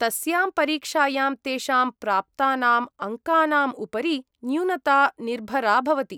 तस्यां परीक्षायां तेषां प्राप्तानाम् अङ्कानाम् उपरि न्यूनता निर्भरा भवति।